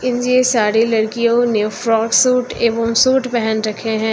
ये सारी लड़कियों ने फ्रॉक सूट एवं सूट पहन रखे हैं।